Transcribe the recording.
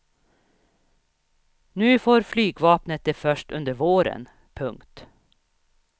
Nu får flygvapnet det först under våren. punkt